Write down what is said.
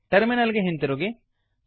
terminal ಗೆ ಹಿಂದಿರುಗಿ